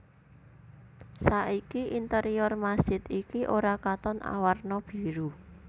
Saiki interior masjid iki ora katon awarna biru